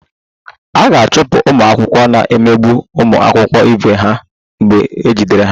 A ga-achụpụ ụmụ akwụkwọ na-emegbu ụmụ akwụkwọ ibe ha mgbe ejidere ha